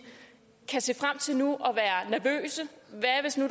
kan se frem til nu